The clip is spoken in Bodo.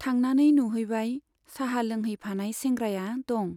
थांनानै नुहैबाय, चाहा लोंहैफानाय सेंग्राया दं।